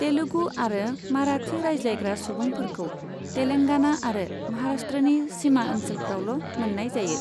तेलुगु आरो माराठि रायज्लायग्रा सुबुंफोरखौ तेलेंगाना आरो महाराष्ट्रनि सिमा ओनसोलफ्रावल' मोननाय जायो।